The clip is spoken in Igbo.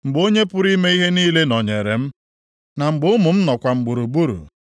mgbe Onye pụrụ ime ihe niile nọnyeere m na mgbe ụmụ m nọkwa m gburugburu,